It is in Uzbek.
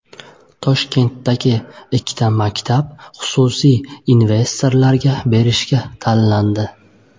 Toshkentdagi ikki maktab xususiy investorlarga berish uchun tanlandi.